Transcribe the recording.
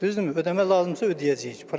Düzdürmü, ödəmə lazımdırsa ödəyəcəyik, problem yoxdur.